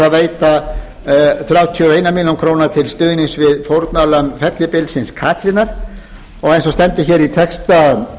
veita þrjátíu og einum mæli krónur til stuðnings við fórnarlömb fellibylsins katrínar og eins og stendur hér í texta